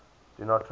do not trust